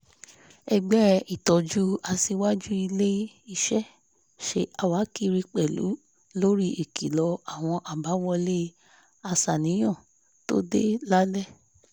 ẹgbẹ́ ìtójú aṣìwájú ilé-iṣẹ́ ṣe àwákiri pẹ̀lú lórí ìkìlọ̀ àwọ̀n àbáwọlé aṣàníyàn tó dé lálẹ́